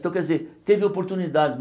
Então, quer dizer, teve oportunidade.